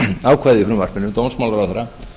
ákvæði í frumvarpinu dómsmálaráðherra